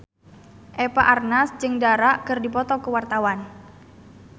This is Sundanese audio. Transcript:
Eva Arnaz jeung Dara keur dipoto ku wartawan